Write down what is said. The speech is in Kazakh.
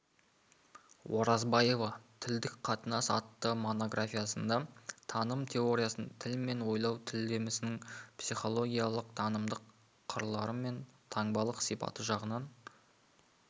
оразбаева тілдік қатынас атты монографиясында таным теориясын тіл мен ойлау тілдесімнің психологиялық танымдық қырлары мен таңбалық сипаты жағынан